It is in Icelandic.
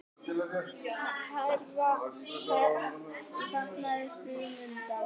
Hærra verð á fatnaði framundan